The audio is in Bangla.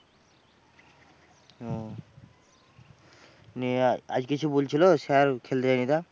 ওহ নিয়ে আজ কিছু বলছিল স্যার? খেলতে যাইনি তা?